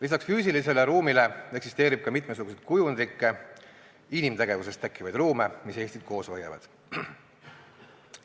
Lisaks füüsilisele ruumile eksisteerib mitmesuguseid kujundlikke, inimtegevusest tekkivaid ruume, mis Eestit koos hoiavad.